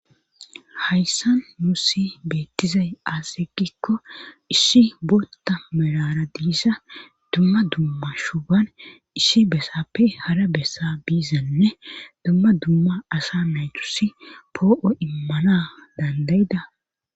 Hayssan mu si beettizay aasegikko issi bootta melara diisa dumma dumma shuban issi besappe hara bessa biizanne dumma dumma asa naytusi poo7o immana dandayida.